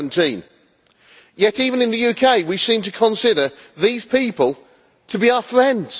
17? Yet, even in the UK, we seem to consider these people to be our friends.